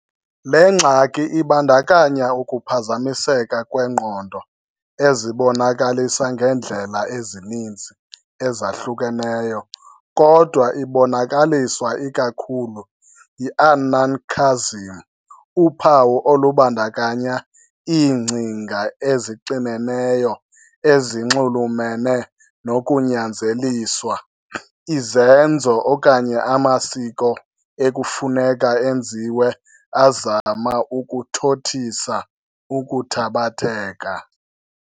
Le ngxaki ibandakanya ukuphazamiseka kwengqondo ezibonakalisa ngeendlela ezininzi ezahlukeneyo, kodwa ibonakaliswa ikakhulu yi-anancasm, uphawu olubandakanya iingcinga ezixineneyo ezinxulumene nokunyanzeliswa izenzo okanye amasiko ekufuneka enziwe azama ukuthothisa ukuthabatheka.